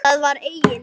Það var eigin